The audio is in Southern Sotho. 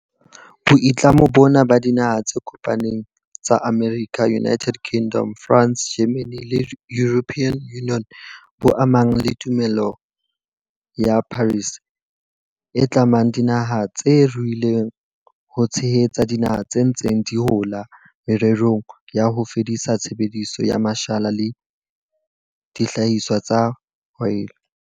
Boitlamo bona ba Dinaha tse Kopaneng tsa Amerika, United Kingdom, France, Germany le European Union bo amana le Tumellano ya Paris, e tlamang dinaha tse ruileng ho tshehetsa dinaha tse ntseng di hola morerong wa ho fedisa tshebediso ya mashala le dihlahiswa tsa oli.